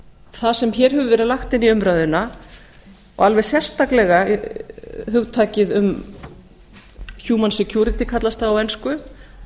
það sem hér hefur verið lagt inn í umræðuna og alveg sérstaklega hugtakið um human security kallast það á ensku